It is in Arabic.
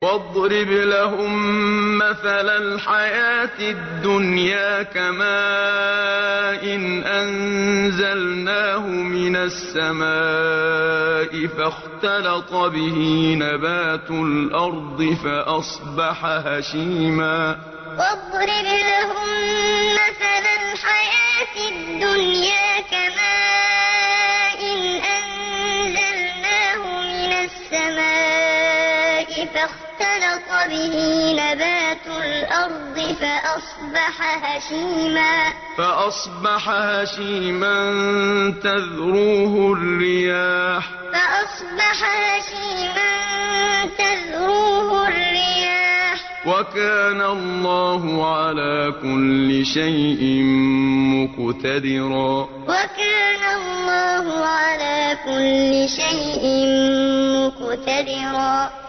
وَاضْرِبْ لَهُم مَّثَلَ الْحَيَاةِ الدُّنْيَا كَمَاءٍ أَنزَلْنَاهُ مِنَ السَّمَاءِ فَاخْتَلَطَ بِهِ نَبَاتُ الْأَرْضِ فَأَصْبَحَ هَشِيمًا تَذْرُوهُ الرِّيَاحُ ۗ وَكَانَ اللَّهُ عَلَىٰ كُلِّ شَيْءٍ مُّقْتَدِرًا وَاضْرِبْ لَهُم مَّثَلَ الْحَيَاةِ الدُّنْيَا كَمَاءٍ أَنزَلْنَاهُ مِنَ السَّمَاءِ فَاخْتَلَطَ بِهِ نَبَاتُ الْأَرْضِ فَأَصْبَحَ هَشِيمًا تَذْرُوهُ الرِّيَاحُ ۗ وَكَانَ اللَّهُ عَلَىٰ كُلِّ شَيْءٍ مُّقْتَدِرًا